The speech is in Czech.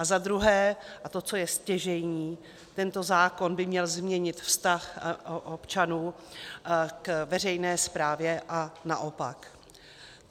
A za druhé, a to, co je stěžejní, tento zákon by měl změnit vztah občanů k veřejné správě, a naopak.